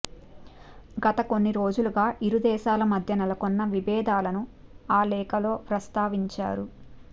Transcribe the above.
గత కొన్ని రోజులుగా ఇరుదేశాల మధ్య నెలకొన్న విభేదాలను ఆ లేఖలో ప్రస్తావించారు